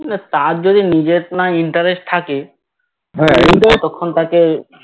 না হা Interest